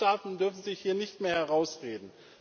Die Mitgliedstaaten dürfen sich hier nicht mehr herausreden.